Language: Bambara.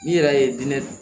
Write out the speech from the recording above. N'i yɛrɛ ye diinɛ